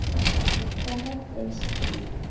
Það er stríð.